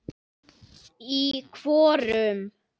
Í hvorum?